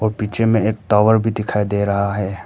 पीछे में एक टावर भी दिखाई दे रहा है।